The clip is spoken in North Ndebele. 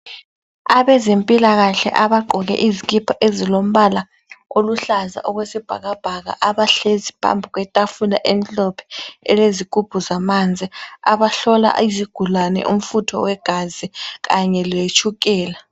Abezempilakahle abagqoke izikipa ezilombala oluhlaza okwesibhakabhaka abahlezi phambi kwetafula emhlophe elezigubhu zamanzi. Abahlola izigulane umfutho wegazi kanye letshukela.